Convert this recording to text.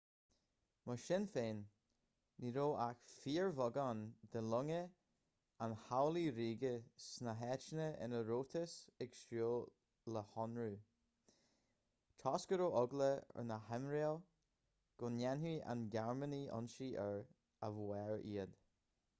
mar sin féin ní raibh ach fíorbheagán de longa an chabhlaigh ríoga sna háiteanna ina rabhthas ag súil le hionradh toisc go raibh eagla ar na haimiréil go ndéanfadh na gearmánaigh ionsaí aeir a bhádh iad